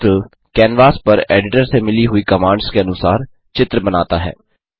turtle canvas पर editor से मिली हुई कमांड्स के अनुसार चित्र बनाता है